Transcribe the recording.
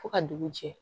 Fo ka dugu jɛ